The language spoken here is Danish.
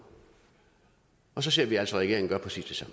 og så ser vi altså regeringen gøre præcis